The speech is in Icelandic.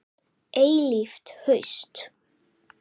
Eilíft haust.